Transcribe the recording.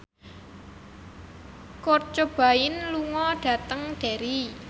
Kurt Cobain lunga dhateng Derry